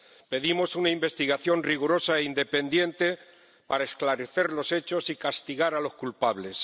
Pedimos una investigación rigurosa e independiente para esclarecer los hechos y castigar a los culpables.